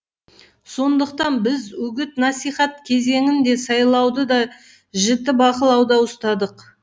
сондықтан біз үгіт насихат кезеңін де сайлауды да жіті бақылауда ұстадық